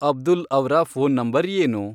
ಅಬ್ದುಲ್ ಅವ್ರ phone number ಏನು